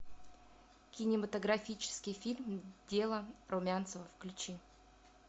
кинематографический фильм дело румянцева включи